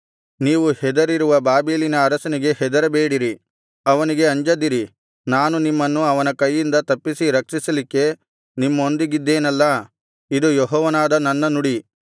ನೀವು ಹೆದರಿರುವ ಬಾಬೆಲಿನ ಅರಸನಿಗೆ ಹೆದರಬೇಡಿರಿ ಅವನಿಗೆ ಅಂಜದಿರಿ ನಾನು ನಿಮ್ಮನ್ನು ಅವನ ಕೈಯಿಂದ ತಪ್ಪಿಸಿ ರಕ್ಷಿಸಲಿಕ್ಕೆ ನಿಮ್ಮೊಂದಿಗಿದ್ದೇನಲ್ಲಾ ಇದು ಯೆಹೋವನಾದ ನನ್ನ ನುಡಿ